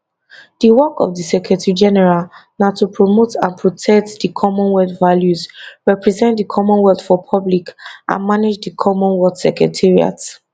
di work of di secretarygeneral na to promote and protect di commonwealth values represent di commonwealth for public and manage di commonwealth secretariat